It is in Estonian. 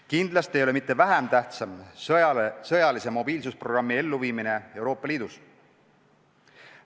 Kindlasti ei ole mitte vähem tähtis sõjalise mobiilsusprogrammi elluviimine Euroopa Liidus.